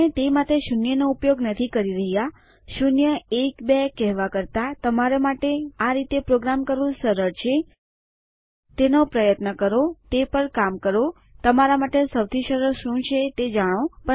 આપણે તે માટે શૂન્યનો ઉપયોગ નથી કરી રહ્યાં શૂન્ય એક બે કેહવા કરતા તમારા માટે આ રીતે પ્રોગ્રામ કરવું સરળ છે તેનો પ્રયત્ન કરો તે પર કામ કરો તમારા માટે સૌથી સરળ શું છે તે જાણો